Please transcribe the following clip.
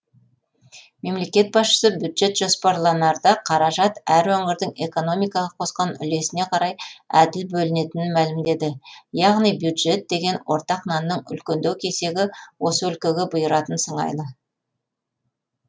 мемлекет басшысы бюджет жоспарланарда қаражат әр өңірдің экономикаға қосқан үлесіне қарай әділ бөлінетінін мәлімдеді яғни бюджет деген ортақ нанның үлкендеу кесегі осы өлкеге бұйыратын сыңайлы